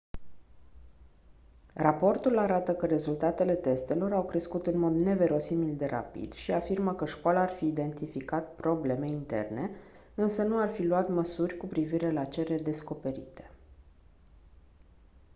raportul arată că rezultatele testelor au crescut în mod neverosimil de rapid și afirmă că școala ar fi identificat probleme interne însă nu ar fi luat măsuri cu privire la cele descoperite